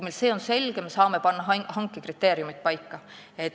Kui see on meile selge, siis me saame hanke kriteeriumid paika panna.